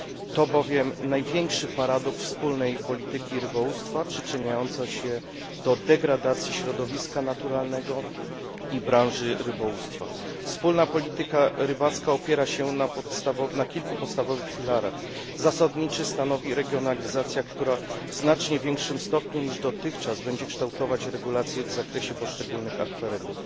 To bowiem największy paradoks wspólnej polityki rybołówstwa przyczyniający się do degradacji środowiska naturalnego i branży rybołówstwa. Wspólna polityka rybacka opiera się na kilku podstawowych filarach zasadniczy stanowi regionalizacja, która w znacznie większym stopniu niż dotychczas będzie kształtować regulacje w zakresie poszczególnych akwenów.